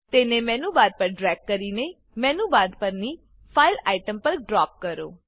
તેને menu bar પર drag કરીને મેનુ બાર પરની ફાઇલ ફાઈલ આઇટમ પર ડ્રોપ કરો